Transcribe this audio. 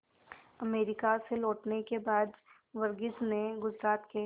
America से लौटने के बाद वर्गीज ने गुजरात के